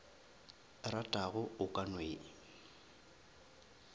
ratago o ka no e